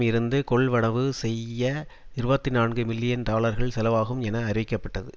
இருந்து கொள்வனவு செய்ய இருபத்தி நான்கு மில்லியன் டாலர்கள் செலவாகும் என அறிவிக்கப்பட்டது